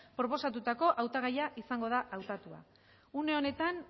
proposatutako hautagaia izango da hautatua une honetan